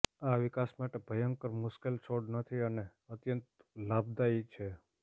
આ વિકાસ માટે ભયંકર મુશ્કેલ છોડ નથી અને અત્યંત લાભદાયી છે